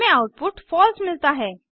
हमें आउटपुट फलसे मिलता है